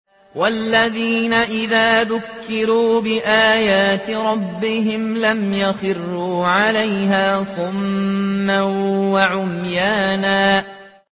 وَالَّذِينَ إِذَا ذُكِّرُوا بِآيَاتِ رَبِّهِمْ لَمْ يَخِرُّوا عَلَيْهَا صُمًّا وَعُمْيَانًا